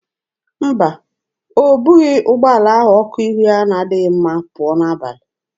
Mba, o bughị ụgbọala ahụ ọkụ ihu ya na-adịghị mma pụọ n'abalị.